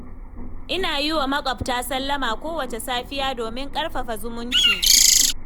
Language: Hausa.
Ina yi wa maƙwabta sallama kowacce safiya domin ƙarfafa zumunci.